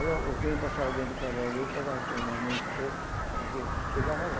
Aí o o trem passava dentro de Caruaru, eu pegava o trem mais minha esposa, nós ia, chegava lá.